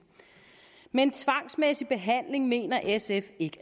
men tvangsmæssig behandling mener sf ikke